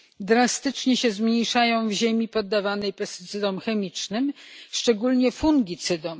drastycznie się zmniejszają w ziemi poddawanej działaniu pestycydów chemicznych, a szczególnie fungicydów.